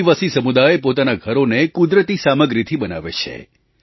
આદિવાસી સમુદાય પોતાનાં ઘરોને કુદરતી સામગ્રીથી બનાવે છે